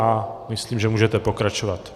A myslím, že můžete pokračovat.